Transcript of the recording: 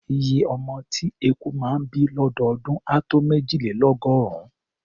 Iye ọmọ tí eku máa ń bí lọ́dọọdún á tó méjìlélọ́gọ́rùn-ún.